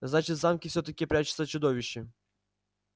значит в замке всё-таки прячется чудовище